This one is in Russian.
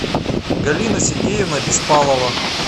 галина сергеевна беспалова